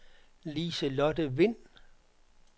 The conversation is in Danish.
Lise-Lotte Vind